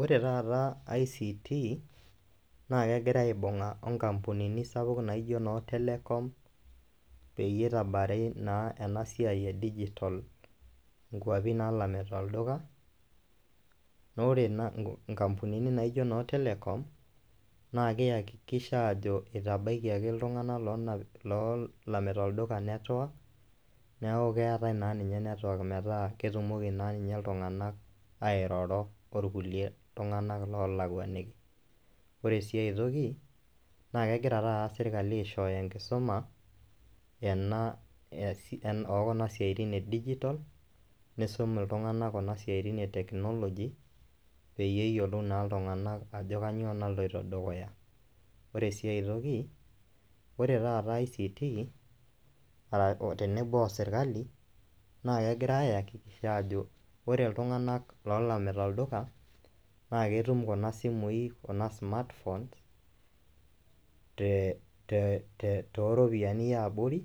Ore taata ICT naake egira aibung'a o nkampunini sapuk naijo noo Telecom peyie itabari naa ena siai e dijitol nkuapi naalamita olduka, naa ore nkampunini naijo noo Telecom naake iakikisha ajo itabaikiaki iltung'anak loo loonapi loolamita olduka network, neeku keetai naa ninye network metaa ketumoki naa ninye iltung'anak airoro orkulie tung'anak loolakuaniki. Ore sii ai toki naake egira taata sirkali aishooyo enkisuma ena e si oo kuna siaitin e dijitol, niisum iltung'anak kuna siaitin e teknoloji peyie iyolou naa iltung'anak ajo kanyoo naloito dukuya. Ore sii ai toki ore taata ICT, tenebo o serkali naa kegira aiakikisha ajo ore illtung'anak loolamita olduka naake etum kuna simui kuna smart phones te te te te too ropiani ee abori